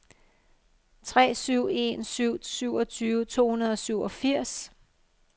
tre syv en syv syvogtyve to hundrede og syvogfirs